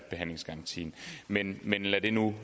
behandlingsgarantien men lad det nu